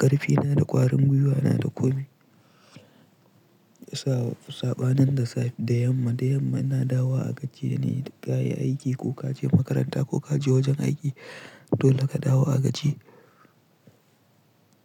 ƙarfina da ƙwarin gwiwa na da ƙomi. Saɓanin da safe da yamma, da yamma ina dawo a gaji ne ka yi aiki ko ka je makaranta ko ka je wajen aiki dole ka dawo a gaji.